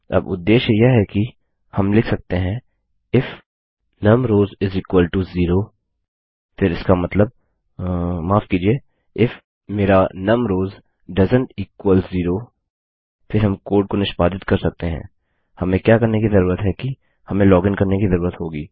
अब उद्देश्य यह है कि हम लिख सकते हैं इफ num rows इस इक्वल टो ज़ेरो फिर इसका मतलबमाफ कीजिए if my num rows doesn't equal zero फिर हम कोड को निष्पादित कर सकते हैं हमें क्या करने की जरूरत है कि हमें लॉगिन करने की जरूरत होगी